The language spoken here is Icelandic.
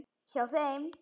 Hjá þeim.